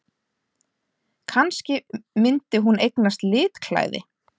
Kannski myndi hún eignast litklæði!